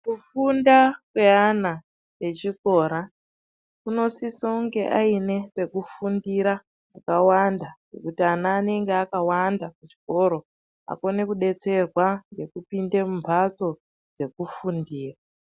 Kufunda kweana echikora, unosise kunge aine pekufundira pakawanda ngekuti ana anenge akawanda kuchikoro akone kudetserwa ngekupinde mumhatso dzekufundira.